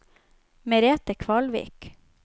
Merete Kvalvik